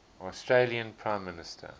australian prime minister